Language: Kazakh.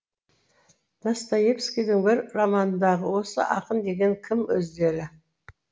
достоевскийдің бір романындағы осы ақын деген кім өздері